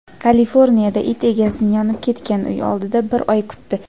Kaliforniyada it egasini yonib ketgan uy oldida bir oy kutdi.